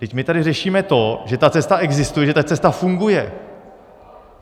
Vždyť my tady řešíme to, že ta cesta existuje, že ta cesta funguje.